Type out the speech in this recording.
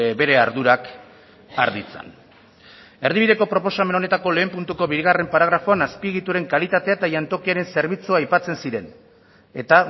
bere ardurak har ditzan erdibideko proposamen honetako lehen puntuko bigarren paragrafoan azpiegituren kalitatea eta jantokiaren zerbitzua aipatzen ziren eta